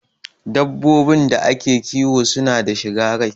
Dabbobin da ake kiwo suna da shiga rai